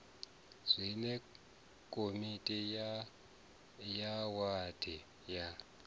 zwine komiti ya wadi ya